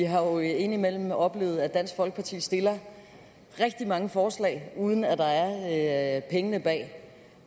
har jo indimellem oplevet at dansk folkeparti stiller rigtig mange forslag uden at der er penge bag